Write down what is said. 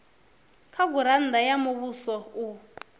kha gurannda ya muvhuso u